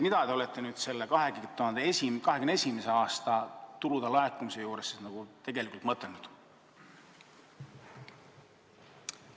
Mida te selle 2021. aasta suurema tulude laekumise all tegelikult olete mõtelnud?